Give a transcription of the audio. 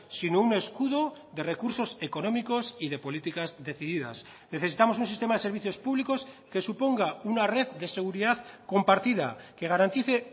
sino un escudo de recursos económicos y de políticas decididas necesitamos un sistema de servicios públicos que suponga una red de seguridad compartida que garantice